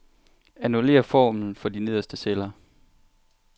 Annullér formlen for de nederste celler.